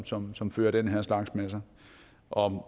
som som fører den her slags med sig og